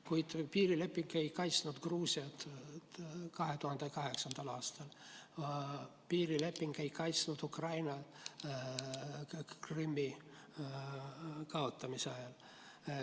Kuid piirileping ei kaitsnud Gruusiat 2008. aastal, piirileping ei kaitsnud Ukrainat Krimmi kaotamise ajal.